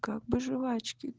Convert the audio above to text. как бы жевачки